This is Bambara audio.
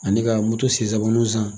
Ani ka moto sen saba olu san.